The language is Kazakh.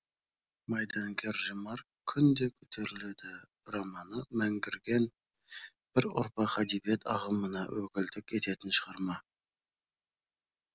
майдангер ремарк күн де көтеріледі романы мәңгірген бір ұрпақ әдебиет ағымына өкілдік ететін шығарма